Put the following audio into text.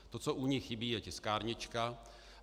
To, co u ní, chybí, je tiskárnička.